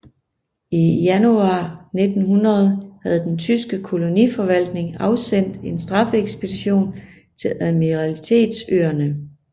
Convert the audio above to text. I januar 1900 havde den tyske koloniforvaltning afsendt en straffeekspedition til admiralitetsøerne